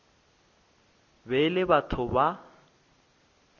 be e le batho ba